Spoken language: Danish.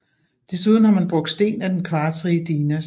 Desuden har man brugt sten af den kvartsrige dinas